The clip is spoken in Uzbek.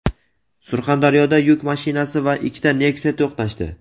Surxondaryoda yuk mashinasi va ikkita Nexia to‘qnashdi.